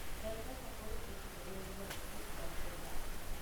M-Pesa konyo e chulo nengo mag thieth mag oganda.